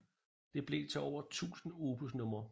Det blev til over 1000 opusnumre